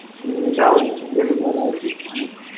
উম ওইটাও বেশ বড় আছে অনেক বড়